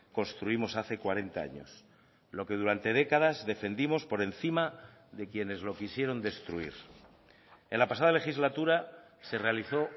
construimos hace cuarenta años lo que durante décadas defendimos por encima de quienes lo quisieron destruir en la pasada legislatura se realizó